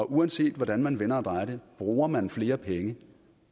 uanset hvordan man vender og drejer det bruger man flere penge